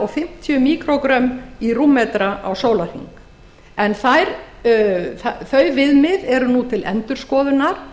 fimmtíu míkrógrömm í rúmmetra á sólarhring þau viðmið eru nú til endurskoðunar